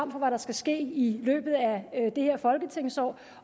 for hvad der skal ske i løbet af det her folketingsår